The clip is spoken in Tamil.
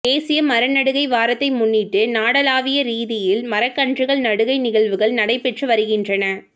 தேசிய மரநடுகை வாரத்தை முன்னிட்டு நாடாளாவிய ரீதியில் மரக்கன்றுகள் நடுகை நிகழ்வுகள் நடைபெற்று வருகின்றன